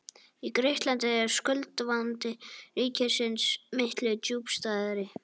Í Grikklandi er skuldavandi ríkisins miklu djúpstæðari.